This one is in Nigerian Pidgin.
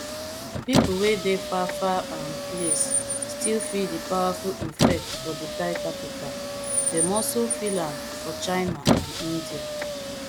pipo wey dey far far um place still feel di powerful effect for di thai capital dem also feel am for china and india